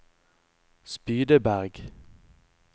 Spydeberg